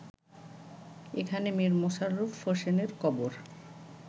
এখানে মীর মশাররফ হোসেনের কবর